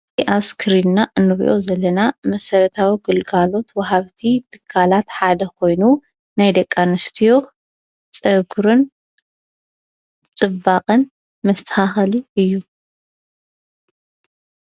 ኣብ ስክሪና እንሪእዮ ዘለና መሰረታዊ ግልጋሎት ውሃብቲ ትካላት ሓደ ኮይኑ ናይ ደቂ ኣንስትዮ ፀጉርን ፅባቀ መስተካከሊ እዩ።